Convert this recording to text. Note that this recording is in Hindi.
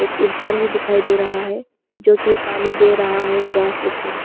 एक इंसान भी दिखाई दे रहा है जो कि पानी दे रहा है ग्रास लोग को।